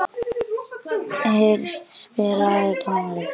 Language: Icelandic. Ernst, spilaðu tónlist.